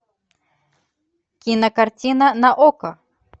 кинокартина на окко